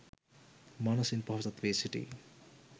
මනසින් පොහොසත් වී සිටී